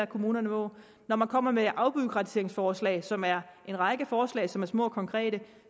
kommunerne må når man kommer med afbureaukratiseringsforslag som er en række forslag som er små og konkrete